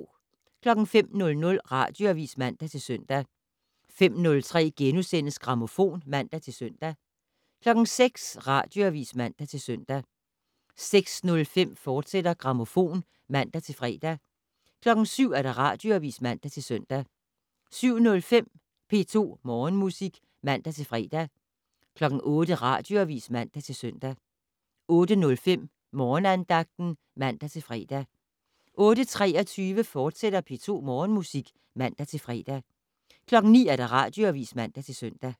05:00: Radioavis (man-søn) 05:03: Grammofon *(man-søn) 06:00: Radioavis (man-søn) 06:05: Grammofon, fortsat (man-fre) 07:00: Radioavis (man-søn) 07:05: P2 Morgenmusik (man-fre) 08:00: Radioavis (man-søn) 08:05: Morgenandagten (man-fre) 08:23: P2 Morgenmusik, fortsat (man-fre) 09:00: Radioavis (man-søn)